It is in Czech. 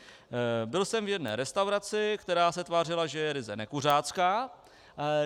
Byl jsem v jedné restauraci, která se tvářila, že je ryze nekuřácká.